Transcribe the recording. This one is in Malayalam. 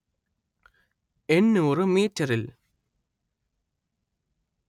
എന്‍നൂര്‍ മീറ്ററിൽ